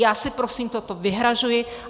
Já si prosím toto vyhrazuji.